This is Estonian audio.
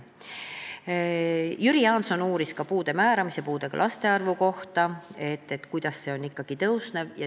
Jüri Jaanson uuris puude määramise ja puudega laste arvu kohta, et miks see ikkagi suureneb.